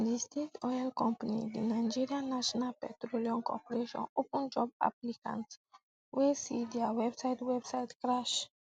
di state oil company di nigerian national petroleum corporation open job applicants wey see dia website website crash